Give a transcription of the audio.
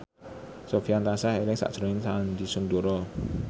Sofyan tansah eling sakjroning Sandy Sandoro